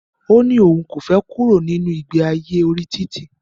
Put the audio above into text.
Ó ní òun kò fẹ kúrò nínu ìgbe ayé orí títì.